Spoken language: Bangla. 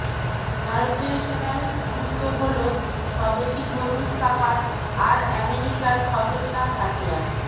ভারতীয় সেনার যুক্ত হল স্বদেশী ধনুশ কামান আর আমেরিকার খতরনাক হাতিয়ার